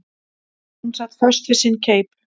Hún sat föst við sinn keip.